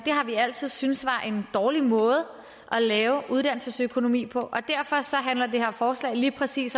har vi altid syntes var en dårlig måde at lave uddannelsesøkonomi på derfor handler det her forslag lige præcis